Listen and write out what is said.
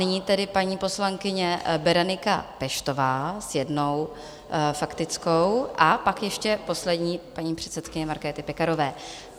Nyní tedy paní poslankyně Berenika Peštová s jednou faktickou a pak ještě poslední, paní předsedkyně Markéty Pekarové.